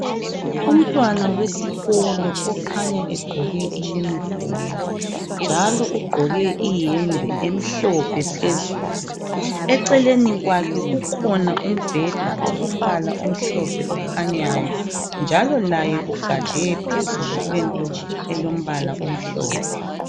Umntwana wesikolo okhanya egqoke iuniform njalo ugqoke iyembe emhlophe phezulu eceleni kwakhe kukhona umbheda olombala omhlophe okhanyayo njalo laye ugade phezulu kwento elombala omhlophe.